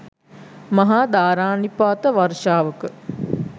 මහා ධාරානිපාත වර්ෂාවක